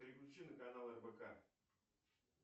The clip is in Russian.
переключи на канал рбк